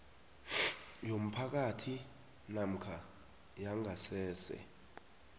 yomphakathi namkha yangasese